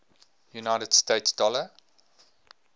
united states dollar